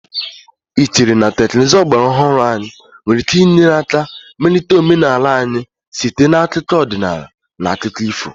Do you think modern technologies can help to improve our culture through folk and fairy tales.?